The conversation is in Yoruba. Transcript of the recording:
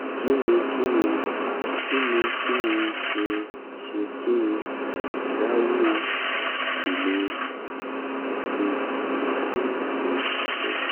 kí ni kí n kí ni kí n ṣe ṣé kí n dáwọ́ ìlo pirigalíìnì dúró?